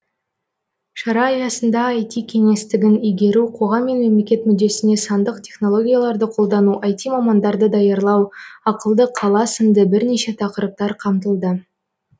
шара аясында іт кеңістігін игеру қоғам мен мемлекет мүддесіне сандық технологияларды қолдану іт мамандарды даярлау ақылды қала сынды бірнеше тақырыптар қамтылды